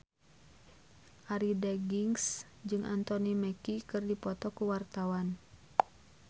Arie Daginks jeung Anthony Mackie keur dipoto ku wartawan